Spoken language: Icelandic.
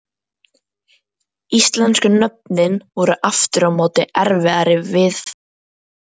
Íslensku nöfnin voru aftur á móti erfiðari viðfangs.